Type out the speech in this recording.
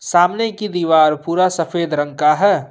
सामने की दिवार पूरा सफेद रंग का है।